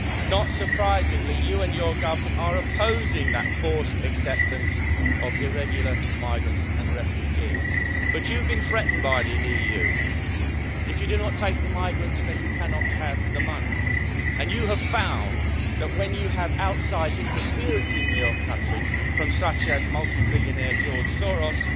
Not surprisingly, you and your government are opposing that forced acceptance of irregular migrants and refugees, but you've been threatened by the EU. If you do not take the migrants then you cannot have the money, and you have found that when you have outside interference in your country from such as multi billionaire George